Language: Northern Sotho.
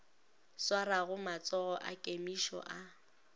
swarago matsogo a kemišo a